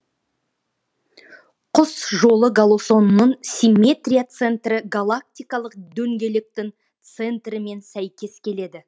құс жолы галосының симметрия центрі галактикалық дөңгелектің центрімен сәйкес келеді